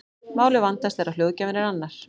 Málið vandast þegar hljóðgjafinn er annar.